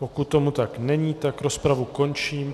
Pokud tomu tak není, tak rozpravu končím.